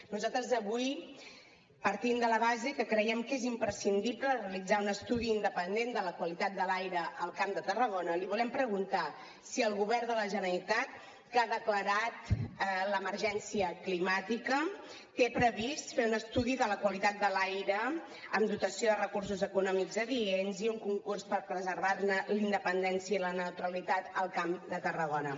nosaltres avui partint de la base que creiem que és imprescindible realitzar un estudi independent de la qualitat de l’aire al camp de tarragona li volem preguntar si el govern de la generalitat que ha declarat l’emergència climàtica té previst fer un estudi de la qualitat de l’aire amb dotació de recursos econòmics adients i un concurs per preservar ne la independència i la neutralitat al camp de tarragona